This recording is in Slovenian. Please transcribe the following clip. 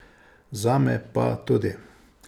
Zame pa tudi.